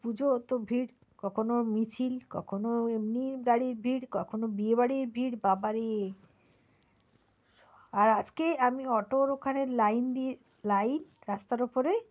পূজো তো ভিড় কখনো মিছিল কখনো এমনি গাড়ির ভিড় কখনো বিয়ে বাড়ির ভিড় কখনো বাড়ি, আর আজকে আমি auto র ওখানে line দিয়ে line রাস্তার ওপরে,